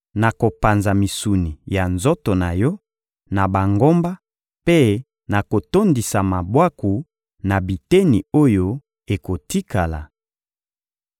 Nakopanza misuni ya nzoto na yo na bangomba mpe nakotondisa mabwaku na biteni oyo ekotikala.